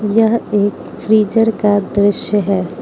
यह एक फ्रीजर का दृश्य है।